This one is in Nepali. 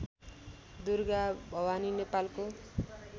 दुर्गाभवानी नेपालको